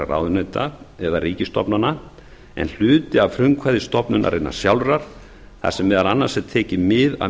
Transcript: ráðuneyta eða ríkisstofnana en hluti að frumkvæði stofnunarinnar sjálfrar þar sem meðal annars er tekið mið af